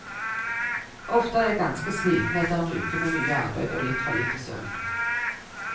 Ofte er jeg ganske sliten etter en uke med mye arbeid og litt for lite søvn.